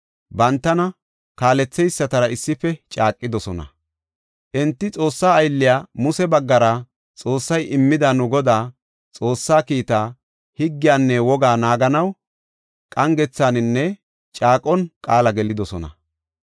bantana kaaletheysatara issife caaqidosona. Enti Xoossa aylliya Muse baggara Xoossay immida nu Godaa, Xoossaa kiitta, higgiyanne wogaa naaganaw qangethaninne caaqon qaala gelidosona.